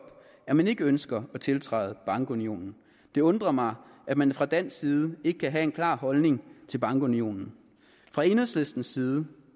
at man ikke ønsker at tiltræde bankunionen det undrer mig at man fra dansk side ikke kan have en klar holdning til bankunionen fra enhedslistens side